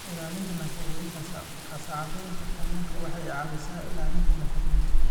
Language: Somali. Ilaalinta Nafaqooyinka Qasacadaynta kalluunka waxay caawisaa ilaalinta nafaqooyinka.